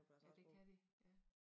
Ja det kan de ja